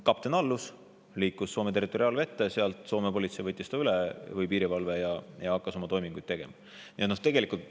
Kapten allus, liiklus Soome territoriaalvette, seal võttis Soome piirivalve ta üle ja asus oma toimingute juurde.